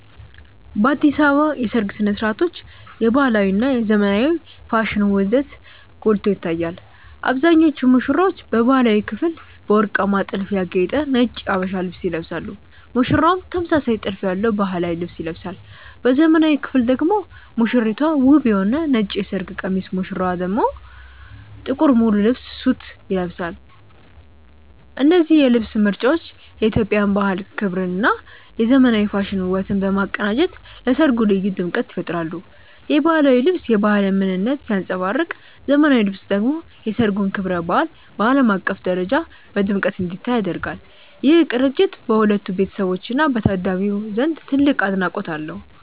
በአዲስ አበባ የሰርግ ሥነ ሥርዓቶች የባህላዊ እና የዘመናዊ ፋሽን ውህደት ጎልቶ ይታያል። አብዛኞቹ ሙሽሮች በባህላዊው ክፍል በወርቃማ ጥልፍ ያጌጠ ነጭ የሀበሻ ልብስ ይለብሳሉ ሙሽራውም ተመሳሳይ ጥልፍ ያለው ባህላዊ ልብስ ይለብሳል። በዘመናዊው ክፍል ደግሞ ሙሽራይቱ ውብ የሆነ ነጭ የሰርግ ቀሚስ ሙሽራው ደግሞ ጥቁር ሙሉ ልብስ (ሱት) ይለብሳሉ። እነዚህ የልብስ ምርጫዎች የኢትዮጵያን ባህል ክብርና የዘመናዊ ፋሽን ውበትን በማቀናጀት ለሠርጉ ልዩ ድምቀት ይፈጥራሉ። የባህላዊው ልብስ የባህልን ምንነት ሲያንጸባርቅ ዘመናዊው ልብስ ደግሞ የሠርጉን ክብረ በዓል በዓለም አቀፍ ደረጃ በድምቀት እንዲታይ ያደርጋል። ይህ ቅንጅት በሁለቱ ቤተሰቦችና በታዳሚው ዘንድ ትልቅ አድናቆት አለው።